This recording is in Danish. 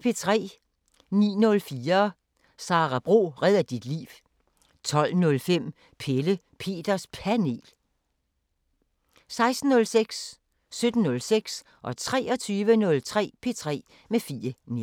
09:04: Sara Bro redder dit liv 12:05: Pelle Peters Panel 16:06: P3 med Fie Neergaard 17:06: P3 med Fie Neergaard 23:03: P3 med Fie Neergaard